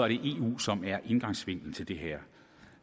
eu som er indgangsvinklen til det her